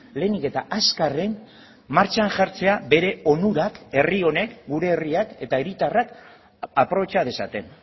lehenik eta azkarren martxan jartzea bere onurak herri honek gure herriak eta hiritarrak aprobetxa dezaten